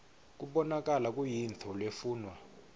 kubonakala kuyintfo lefunwa